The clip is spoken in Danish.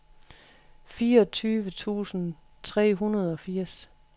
fireogtyve tusind tre hundrede og firs